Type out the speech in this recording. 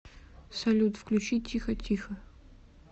салют включи тихотихо